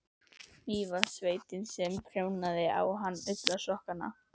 Mývatnssveitinni sem prjónaði á hann ullarsokkana.